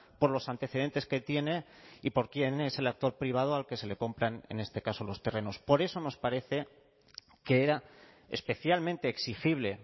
por los antecedentes que tiene y por quién es el actor privado al que se le compran en este caso los terrenos por eso nos parece que era especialmente exigible